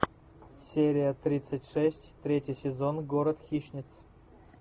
серия тридцать шесть третий сезон город хищниц